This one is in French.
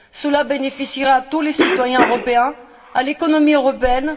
Cela bénéficiera à tous les citoyens européens et à l'économie européenne.